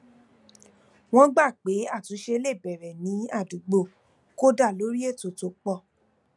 wọn gbà pé àtúnṣe le bẹrẹ ní àdúgbò kódà lórí ètò tó pọ